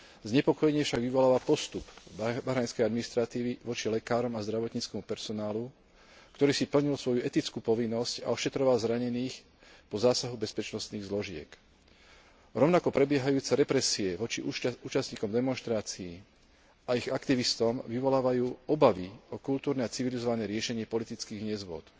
Znepokojenie však vyvoláva postup bahrajnskej administratívy voči lekárom a zdravotníckemu personálu, ktorý si plnil svoju etickú povinnosť a ošetroval zranených po zásahu bezpečnostných zložiek. Rovnako, prebiehajúce represie voči účastníkom demonštrácie a ich aktivistom vyvolávajú obavy o kultúrne a civilizované riešenie politických nezhôd.